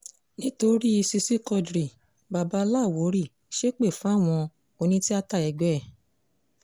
nítorí i ṣíṣí quadri baba láwórì ṣépè fáwọn onítìáta ẹgbẹ́ ẹ̀